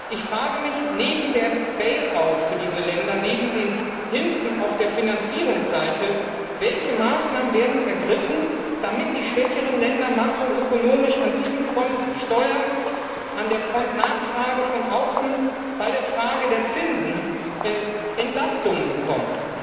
Ich frage mich, neben dem Bail out für diese Länder, neben den Hilfen auf der Finanzierungsseite Welche Maßnahmen werden ergriffen, damit die schwächeren Länder makroökonomisch an diesen Fronten Steuern, Nachfrage von außen, Zinsen Entlastung bekommen?